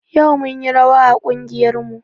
Yau munyi rawa a ƙungiyar mu